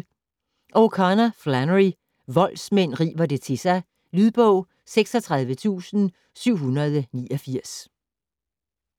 O'Connor, Flannery: Voldsmænd river det til sig Lydbog 36789